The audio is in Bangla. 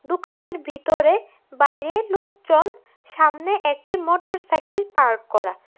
দোকানের ভিতরে বাইরে লুকজন সামনে একটি মোটরসাইকেল পার্ক করা।